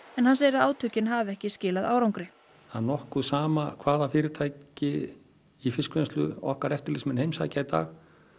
en hann segir að átökin hafi ekki skilað árangri það er nokkuð sama hvaða fyrirtæki í fiskvinnslu okkar eftirlitsmenn heimsækja í dag